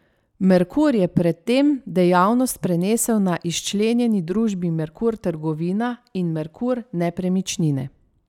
Merkur je pred tem dejavnost prenesel na izčlenjeni družbi Merkur trgovina in Merkur nepremičnine.